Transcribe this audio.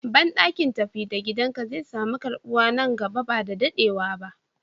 Banɗaki tafi da gidan ka zai samu karɓuwa nan gaba ba dadewa.